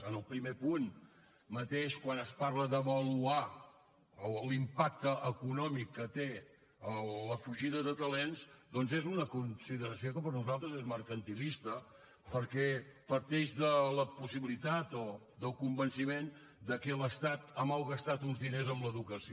en el primer punt mateix quan es parla d’avaluar l’impacte econòmic que té la fugida de talents doncs és una consideració que per nosaltres és mercantilista perquè parteix de la possibilitat o del convenciment que l’estat ha malgastat uns diners en l’educació